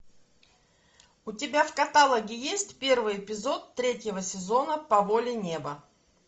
у тебя в каталоге есть первый эпизод третьего сезона по воле неба